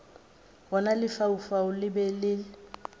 gona lefaufau le be le